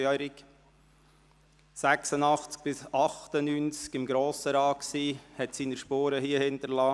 Er war von 1986–1998 im Grossen Rat und hinterliess hier seine Spuren.